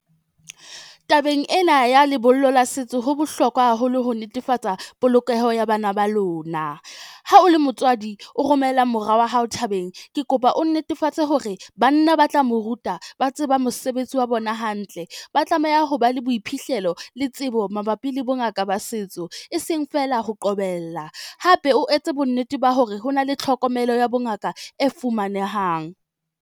Tabeng ena ya lebollo la setso, ho bohlokwa haholo ho netefatsa polokeho ya bana ba lona. Ha o le motswadi o romela mora wa hao thabeng, ke kopa o netefatse hore banna ba tla mo ruta ba tseba mosebetsi wa bona hantle. Ba tlameha ho ba le boiphihlelo le tsebo mabapi le bongaka ba setso, e seng fela ho qobella, hape o etse bonnete ba hore ho na le tlhokomelo ya bongaka e fumanehang.